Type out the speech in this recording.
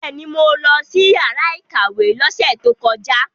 Bẹ́ẹ̀ni, mo lọ sí yàrá ìkàwé lọ́sẹ̀ tó kọjá.